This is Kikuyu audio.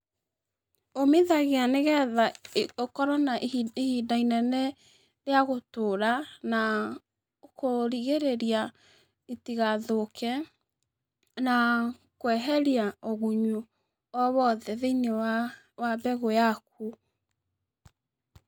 Ũmithagaia nĩgetha ũkorwo na i ihinda inene rĩa gũtũra, na kũrigĩrĩria itigathũke, na kweheria ũgunyu o wothe thĩ-inĩ wa wa mbegũ yaku.